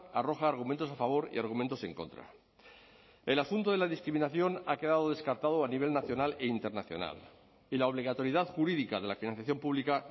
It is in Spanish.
arroja argumentos a favor y argumentos en contra el asunto de la discriminación ha quedado descartado a nivel nacional e internacional y la obligatoriedad jurídica de la financiación pública